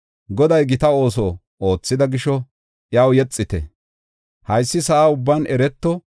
Goday gita ooso oothida gisho, iyaw yexite; haysi sa7a ubban ereto.